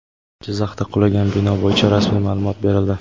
Jizzaxda qulagan bino bo‘yicha rasmiy ma’lumot berildi.